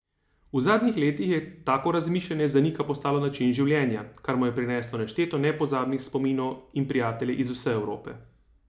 V zadnjih letih je tako razmišljanje za Nika postalo način življenja, kar mu je prineslo nešteto nepozabnih spominov in prijatelje iz vse Evrope.